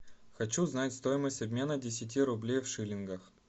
хочу знать стоимость обмена десяти рублей в шиллингах